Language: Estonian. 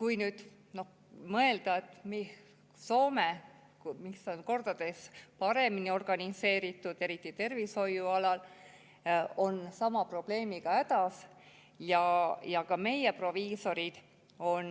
Kui nüüd mõelda, et Soome, kus on kordades paremini organiseeritud, eriti tervishoiu alal, on sama probleemiga hädas ja ka meie proviisorid on